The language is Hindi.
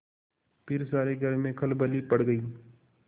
फिर सारे घर में खलबली पड़ गयी